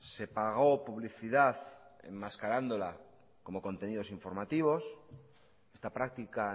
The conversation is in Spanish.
se pagó publicidad enmascarándola como contenidos informativos esta práctica